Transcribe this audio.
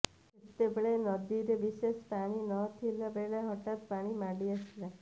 ସେତେବେଳେ ନଦୀରେ ବିଶେଷ ପାଣି ନ ଥିବା ବେଳେ ହଠାତ୍ ପାଣି ମାଡ଼ି ଆସିଲା